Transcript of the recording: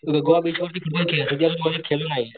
Goa beach वरती